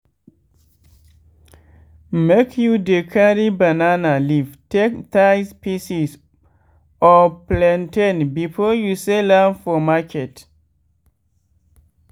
make you dey carry banana leaf take tie pieces of plantain before you sell am for market.